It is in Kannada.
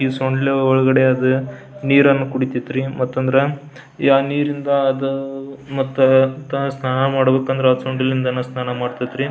ಸೊಂಡಿಲ್ ಒಳಗಡೆ ಅದು ನೀರನ್ನು ಕುಡಿತೈತ್ರಿ ಮತ್ತಂದ್ರ ಯಾವ್ ನೀರಿಂದ ಅದ ಮತ್ತ ಸ್ನಾನ ಮಾಡ್ಬೇಕಂದ್ರೆ ಇದು ಸೊಂಡಿಲ್ ಇಂದ ಸ್ನಾನ ಮಾಡತೈತ್ರಿ .